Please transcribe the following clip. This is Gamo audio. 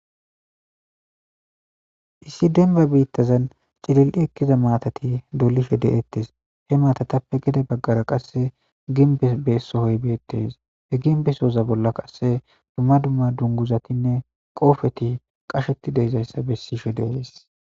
issi denba biittazan cilil7i ekkiza matati dolishe de7ettes he maatatappe gede baggara qasse ginbe beesohoy beettes he ginbesoza bolla qasse dumma dumma dunguzatinne qoofeti qasheti deezayssa bessishe de7es